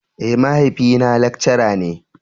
Eh, mahaifi na lekcara ne.